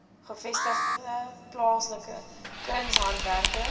gevestigde plaaslike kunshandwerkers